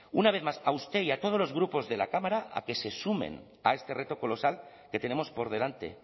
una vez más a usted y a todos los grupos de la cámara a que se sumen a este reto colosal que tenemos por delante